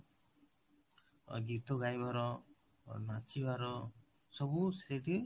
ଗୀତ ଗାଇବାର, ନାଚିବାର, ସବୁ ସେଠି